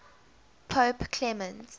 pope clement